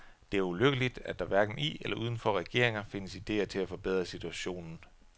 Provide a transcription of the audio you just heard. Det er ulykkeligt, at der hverken i eller udenfor regeringer findes idéer til at forbedre situationen.